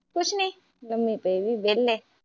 ਕੁਝ ਨਹੀਂ ਲੰਮੇ ਪੈ ਵੀ ਵੇਹਲੇ